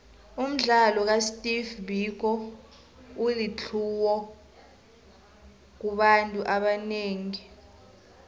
umdlalo ka steve biko ulitlhuwo kubantu abanengi